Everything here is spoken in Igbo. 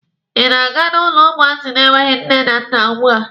Ị na-aga n'ụlọ ụmụazị na-enweghi nne na nna ugbua?